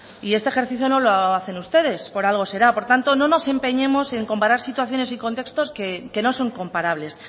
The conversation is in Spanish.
y este ejercicio no lo hacen ustedes por algo será por tanto no nos empeñemos en comparar situaciones y contextos que no son comparables